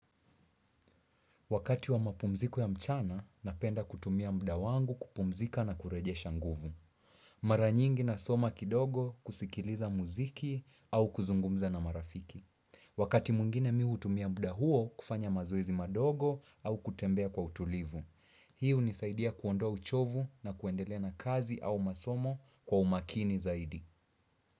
Wakati wa mapumziko ya mchana, napenda kutumia mda wangu kupumzika na kurejesha nguvu. Mara nyingi nasoma kidogo kusikiliza muziki au kuzungumza na marafiki. Wakati mwingine mimi utumia mda huo kufanya mazoezi madogo au kutembea kwa utulivu. Hii unisaidia kuondoa uchovu na kuendelea na kazi au masomo kwa umakini zaidi.